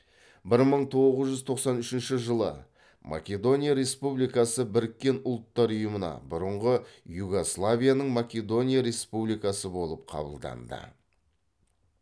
бір мың тоғыз жүз тоқсан үшінші жылы македония республикасы біріккен ұлттар ұйымына бұрынғы югославияның македония республикасы болып қабылданды